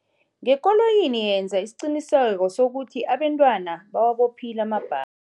Ngekoloyini, yenza isiqiniseko sokuthi abantwana bawabophile amabha